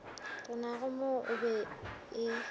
renago mo o be o